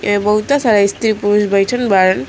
ये बहुतह सारा स्त्री पुरुष बइठल बाड़न।